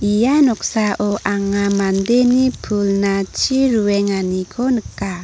ia noksao anga mandeni pulna chi ruenganiko nika.